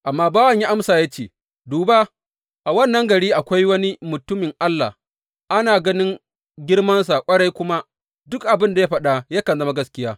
Amma bawan ya amsa ya ce, Duba, a wannan gari akwai wani mutumin Allah, ana ganin girmansa ƙwarai kuma duk abin da ya faɗa yakan zama gaskiya.